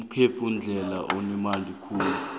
igalfu mdlalo onemali khulu